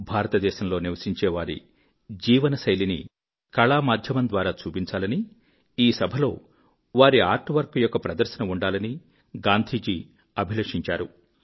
భారతదేశంలో నివసించే వారి జీవనశైలిని కళామాధ్యమంద్వారా చూపించాలని ఈ సభలో వారి ఆర్ట్ వర్క్ యొక్క ప్రదర్శన ఉండాలని గాంధీజీ అభిలషించారు